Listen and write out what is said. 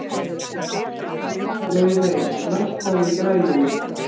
Laugey, lækkaðu í græjunum.